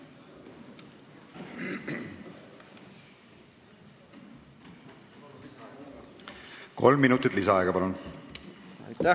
Kolm minutit lisaaega, palun!